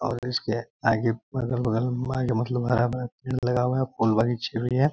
और इसके आगे अगल-बगल में मतलब आगे हरा-भरा पेड़ लगा हुआ है फुल बिछी हुई है।